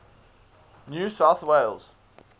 new south wales